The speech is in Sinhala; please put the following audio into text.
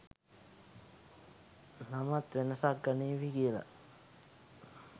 නමත් වෙනසක් ගනීවී කියලා.